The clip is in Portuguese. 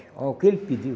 Olha o que ele pediu.